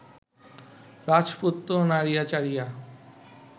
রাজপুত্র নাড়িয়া চাড়িয়া